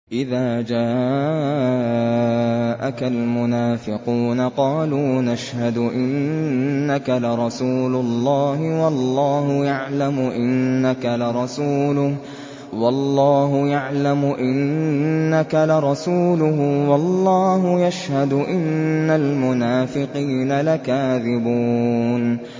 إِذَا جَاءَكَ الْمُنَافِقُونَ قَالُوا نَشْهَدُ إِنَّكَ لَرَسُولُ اللَّهِ ۗ وَاللَّهُ يَعْلَمُ إِنَّكَ لَرَسُولُهُ وَاللَّهُ يَشْهَدُ إِنَّ الْمُنَافِقِينَ لَكَاذِبُونَ